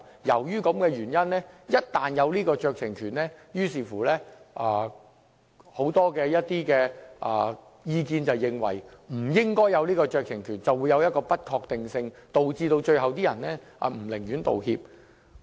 由於這個原因，就給予酌情權而言，有很多意見認為不應給予酌情權，因為它會造成不確定性，最終導致那些涉事的人寧願不作出道歉。